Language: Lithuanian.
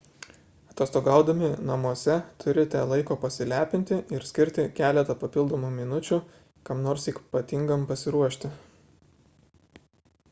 atostogaudami namuose turite laiko pasilepinti ir skirti keletą papildomų minučių kam nors ypatingam pasiruošti